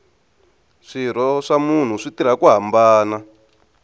swirho swa munhu swi tirha ku hambana